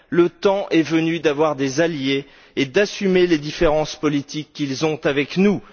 Le temps est venu d'avoir des alliés et d'assumer les différences politiques qu'ils ont avec nous.